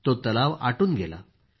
तो तलाव सुकून गेला